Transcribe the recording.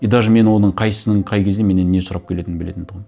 и даже мен оның қайсысының қай кезде менен не сұрап келетінін білетін тұғым